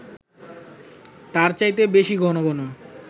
তার চাইতে বেশি ঘন ঘন